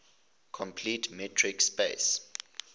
complete metric space